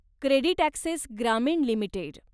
CreditAccess Grameen limited